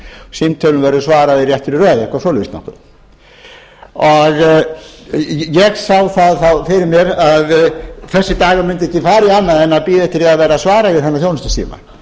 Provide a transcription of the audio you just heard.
símtölum verður svarað í réttri röð eitthvað svoleiðis ég sá fyrir mér að dagurinn mundi ekki fara í annað en bíða eftir því að verða svarað í þennan þjónustusíma